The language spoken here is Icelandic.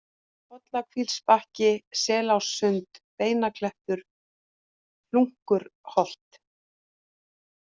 Pollakílsbakki, Selássund, Beinaklettur, Hlunkurholt